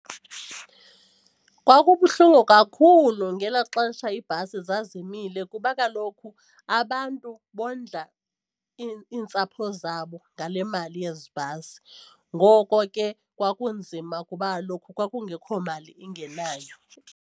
Kwakubuhlungu kakhulu ngelaa xesha iibhasi zazimile kuba kaloku abantu bondla iintsapho zabo ngale mali yezi bhasi. Ngoko ke kwakunzima kuba kaloku kwakungekho mali ingenayo.